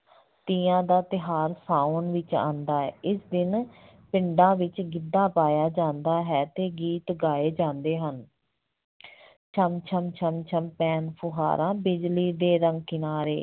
ਤੀਆਂ ਦਾ ਤਿਉਹਾਰ ਸਾਵਣ ਵਿੱਚ ਆਉਂਦਾ ਹੈ, ਇਸ ਦਿਨ ਪਿੰਡਾਂ ਵਿੱਚ ਗਿੱਧਾ ਪਾਇਆ ਜਾਂਦਾ ਹੈ ਤੇ ਗੀਤ ਗਾਏ ਜਾਂਦੇ ਹਨ ਛਣ ਛਣ ਛਣ ਛਣ ਪੈਣ ਫੁਹਾਰਾਂ ਬਿਜਲੀ ਦੇ ਰੰਗ ਕਿਨਾਰੇ,